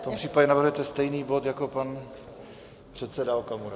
V tom případě navrhujete stejný bod jako pan předseda Okamura.